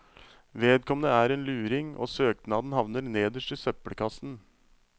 Vedkommende er en luring, og søknaden havner nederst i søppelkassen.